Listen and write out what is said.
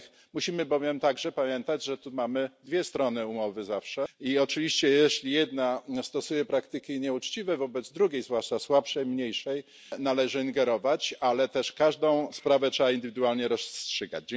Musimy bowiem także pamiętać, że tu mamy zawsze dwie strony umowy i oczywiście jeśli jedna stosuje praktyki nieuczciwe wobec drugiej, zwłaszcza słabszej i mniejszej, należy ingerować, ale też każdą sprawę trzeba indywidualnie rozstrzygać.